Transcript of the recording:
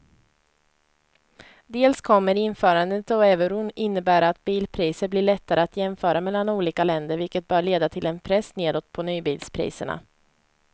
Dels kommer införandet av euron innebära att bilpriser blir lättare att jämföra mellan olika länder vilket bör leda till en press nedåt på nybilspriserna.